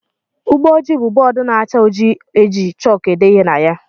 Ụgbọjii bụ bóódú na-acha ojii eji chaalkú ede ihe na ya.